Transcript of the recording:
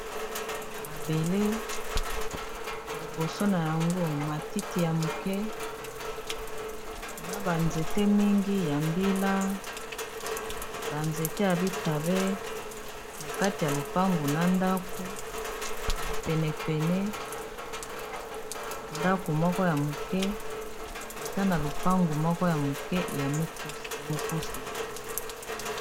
Mabele liboso na yango matiti ya moke na ba nzete mingi ya mbila ba nzete ya bitabe na kati ya lopangu na ndako na penepene ndako moko ya moke eza na lopangu moko ya moke ya mokuse.